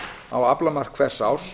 á aflamark hvers árs